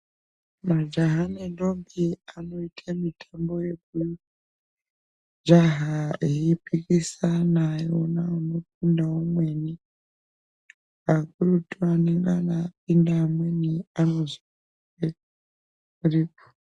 Majaha nendombi anoite mutambo wekujaha eyipikisana neana mukunda woumweni akurutu anenge anedenda umweni anozopere.